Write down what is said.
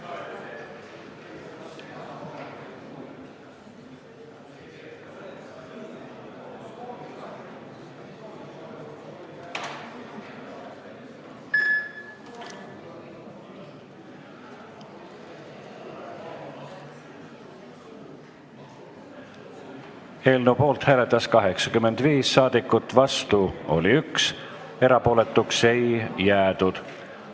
Hääletustulemused Eelnõu poolt hääletas 85 saadikut, vastu oli 1, erapooletuks ei jäädud.